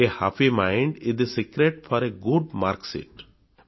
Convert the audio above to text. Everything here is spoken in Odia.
a happy mind is the secret for a good marksheet